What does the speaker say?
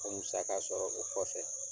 A musaka sɔrɔ o kɔfɛ.